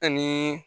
Ani